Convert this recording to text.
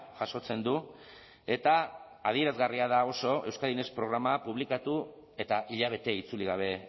jasotzen du eta adierazgarria da oso euskadi next programa publikatu eta hilabete itzuli gabe